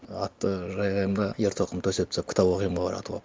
атты жайғаймын да ер тоқым төсем тастап кітап оқимын ғой оратывап